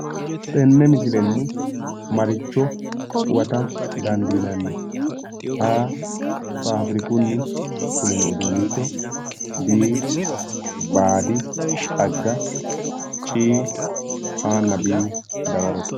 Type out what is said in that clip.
Tene missilen maricho huwata dandinanni a. faafirikuni b.baadi xagga c.a na b dawarote